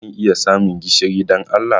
Zan iya samun gishiri, don Allah?